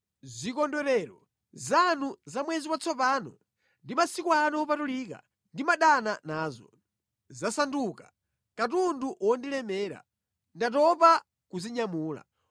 Zikondwerero zanu za Mwezi Watsopano ndi masiku anu opatulika ndimadana nazo. Zasanduka katundu wondilemera; ndatopa kuzinyamula.